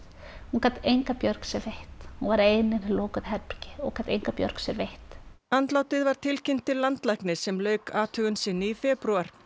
hún gat enga björg sér veitt hún var ein í lokuðu herbergi og gat enga björg sér veitt andlátið var tilkynnt til landlæknis sem lauk athugun sinni í febrúar